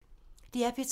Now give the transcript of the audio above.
DR P3